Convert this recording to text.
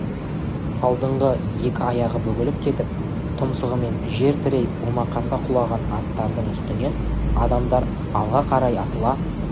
алдыңғы екі аяғы бүгіліп кетіп тұмсығымен жер тірей омақаса құлаған аттардың үстінен адамдар алға қарай атыла